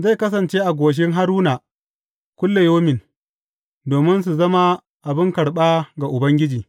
Zai kasance a goshin Haruna kullayaumin, domin su zama abin karɓa ga Ubangiji.